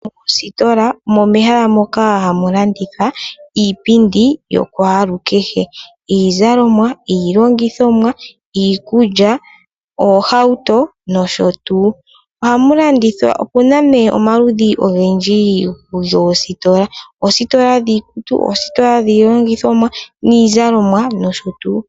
Oositola omo mehala moka hamu landithwa iipindi yokwaalukehe ngaashi iizalomwa, iilongithomwa, iikulya , oohauto, noshotuu. Opuna omaludhi ogendji goositola oositola dhiikutu, dhiilongithomwa, niizalomwa noshotuu.